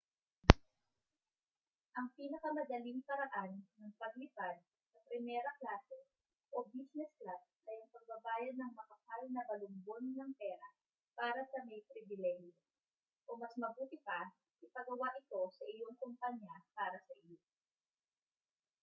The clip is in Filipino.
ang pinakamadaling paraan ng paglipad sa primera klase o business class ay ang pagbabayad ng makapal na balumbon ng pera para sa may pribilehiyo o mas mabuti pa ipagawa ito sa iyong kompanya para sa iyo